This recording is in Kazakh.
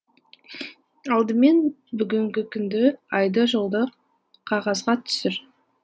алдымен бүгінгі күнді айды жылды қағазға түсір